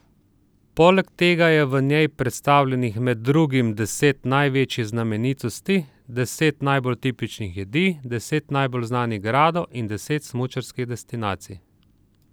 Poleg tega je v njej predstavljenih med drugim deset največjih znamenitosti, deset najbolj tipičnih jedi, deset najbolj znanih gradov in deset smučarskih destinacij.